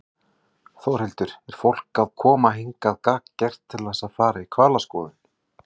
Þórhildur: Er fólk að koma hingað gagngert til að fara í hvalaskoðun?